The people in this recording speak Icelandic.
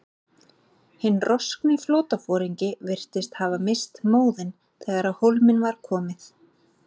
Hinn roskni flotaforingi virðist hafa misst móðinn, þegar á hólminn var komið.